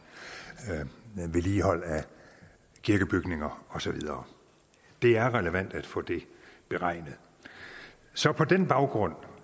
vedligehold af kirkebygninger og så videre det er relevant at få det beregnet så på den baggrund